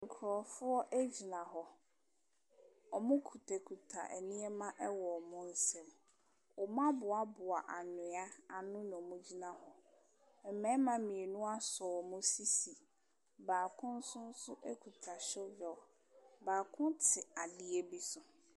Nkurɔfoɔ gyina hɔ, wɔkitakita nneɛma wɔ wɔn nsa mu, wɔaboaboa anwea ano na wɔgyina ho. Mmarima mmienu asɔ wɔn sisi, baako nso kita shovel, baako te adeɛ bi so.